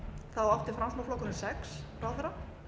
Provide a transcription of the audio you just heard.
ráðherrum átti framsóknarflokkurinn sex ráðherra